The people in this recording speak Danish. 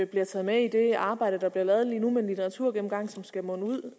bliver taget med i det arbejde der bliver lavet lige nu med en litteraturgennemgang som skal munde ud